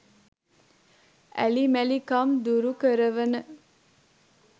ඇලි මැලි කම් දුරුකරවන